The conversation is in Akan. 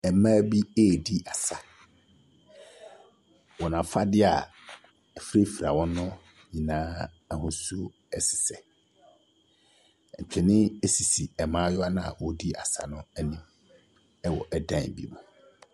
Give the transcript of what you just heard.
Mmaa bi ɛredi asa, wɔn afadeɛ afurafura wɔ no sesɛ, mfonin sisi mmaayewa no a wɔredi asa no anim wɔ dan ne mu.